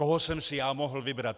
Koho jsem si já mohl vybrat?